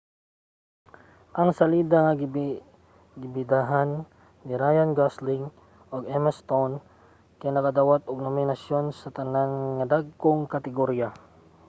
ang salida nga gibidahan ni ryan gosling ug emma stone kay nakadawat og mga nominasyon sa tanan nga dagkong kategorya